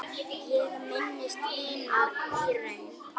Ég minnist vinar í raun.